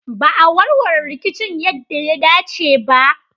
Ba a warware rikicin yadda ya dace ba.